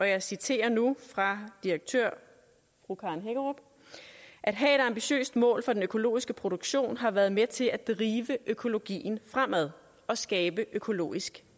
jeg citerer nu direktøren fru karen hækkerup at have et ambitiøst mål for den økologiske produktion har været med til at drive økologien fremad og skabe økologisk